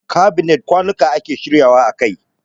Kabinet kwanuka ake shirya wa a kai.